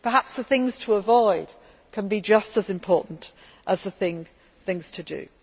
work. Perhaps the things to avoid can be just as important as the things to